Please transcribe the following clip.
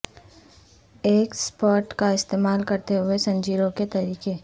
ایک سپپٹ کا استعمال کرتے ہوئے زنجیروں کے طریقے